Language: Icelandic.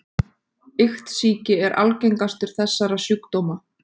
Iktsýki er algengastur þessara sjúkdóma.